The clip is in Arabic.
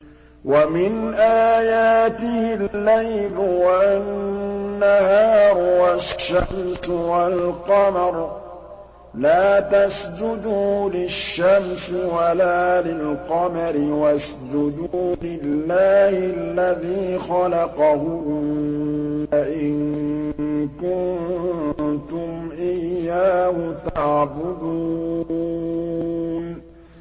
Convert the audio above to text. وَمِنْ آيَاتِهِ اللَّيْلُ وَالنَّهَارُ وَالشَّمْسُ وَالْقَمَرُ ۚ لَا تَسْجُدُوا لِلشَّمْسِ وَلَا لِلْقَمَرِ وَاسْجُدُوا لِلَّهِ الَّذِي خَلَقَهُنَّ إِن كُنتُمْ إِيَّاهُ تَعْبُدُونَ